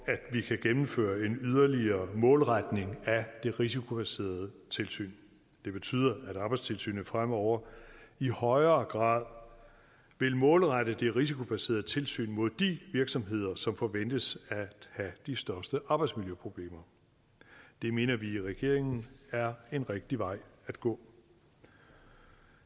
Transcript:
at vi kan gennemføre en yderligere målretning af det risikobaserede tilsyn det betyder at arbejdstilsynet fremover i højere grad vil målrette det risikobaserede tilsyn mod de virksomheder som forventes at have de største arbejdsmiljøproblemer det mener vi i regeringen er en rigtig vej at gå